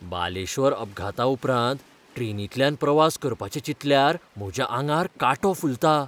बालेश्वरअपघाताउपरांत ट्रेनींतल्यान प्रवास करपाचें चिंतल्यार म्हज्या आंगार कांटो फुलता.